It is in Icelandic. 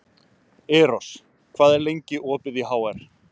Eros, hvað er lengi opið í HR?